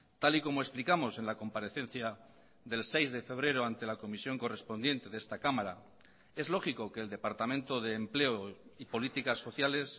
tal y como explicamos en la comparecencia del seis de febrero ante la comisión correspondiente de esta cámara es lógico que el departamento de empleo y políticas sociales